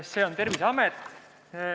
See on Terviseamet.